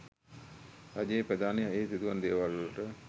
රජයේ ප්‍රධානියා එහි සිදුවන දේවල්වලට